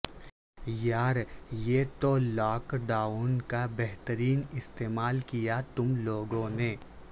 یار یہ تو لاک ڈاون کا بہترین استعمال کیا تم لوگوں نے